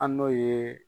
An n'o ye